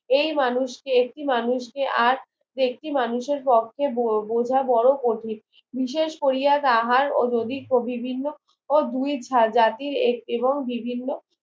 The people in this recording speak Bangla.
এই মানুষকে একটি মানুষ কে আর একটি ম, অনুষের পক্ষে বোঝা বড়ো কঠিন বিশেষ কোরিয়া তাহার ও যদি বিভিন্ন দুই জাতির এবং বিভিন্ন